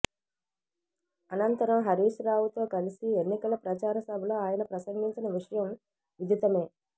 అనంతరం హరీష్ రావుతో కలిసి ఎన్నికల ప్రచార సభలో ఆయన ప్రసంగించిన విషయం విధితమే